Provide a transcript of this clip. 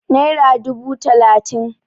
naira dubu talatin